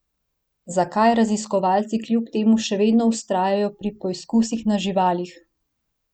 Zakaj raziskovalci kljub temu še vedno vztrajajo pri poizkusih na živalih?